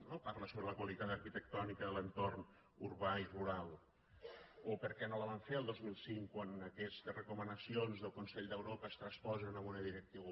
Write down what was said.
no parla sobre la qualitat arquitectònica de l’entorn urbà i rural o per què no la vam fer el dos mil cinc quan aquestes recomanacions del consell d’europa es transposen a una directiva